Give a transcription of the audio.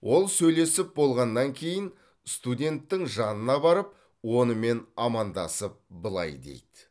ол сөйлесіп болғаннан кейін студенттің жанына барып онымен амандасып былай дейді